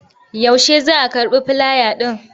Yaushe za a karɓi filaya ɗin?